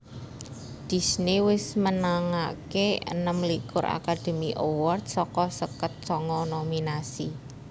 Disney wis menangaké enem likur Academy Awards saka seket sanga nominasi